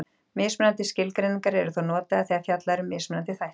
Mismunandi skilgreiningar eru þó notaðar þegar fjallað er um mismunandi þætti.